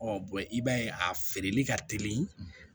i b'a ye a feereli ka teli